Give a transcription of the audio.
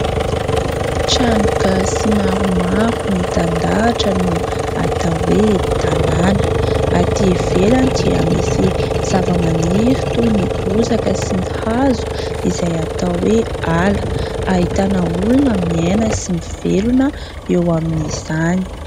Trano gasy maromaro mitandahatra no atao hoe : tanàna. Atỳ ivelany dia misy zavamaniry toy ny bozaka sy ny hazo izay atao hoe : ala. Ahitana olona miaina sy mivelona eo amin'izany.